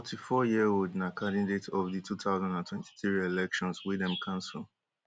di forty-fouryearold na candidate of di two thousand and twenty-three elections wey dem cancel